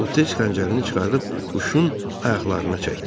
O tez xəncərini çıxarıb quşun ayaqlarına çəkdi.